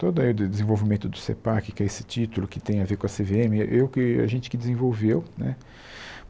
Todo aí do desenvolvimento do CEPAC, que é esse título que tem a ver com a Cê Vê Eme, eu que a gente que desenvolveu né.